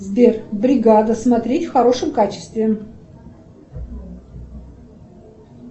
сбер бригада смотреть в хорошем качестве